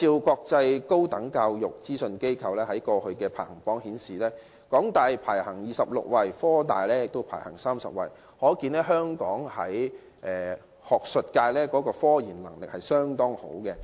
國際高等教育資訊機構去年公布的世界大學排名顯示，香港大學及香港科技大學分別位列第二十六及第三十位，可見香港學術界的科研能力相當不錯。